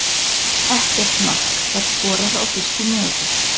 Ekkert mark var skorað á fyrstu mínútu.